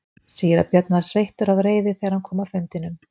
Síra Björn var sveittur af reiði þegar hann kom af fundinum.